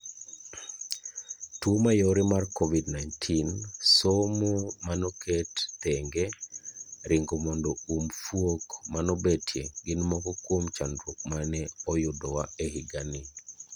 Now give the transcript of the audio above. Tuo mayore mar Covid -19 ,somo manoket thenge,,ringo mondo um fuok manobetie gin moko kuom chandruok mane oyudowa ehigani.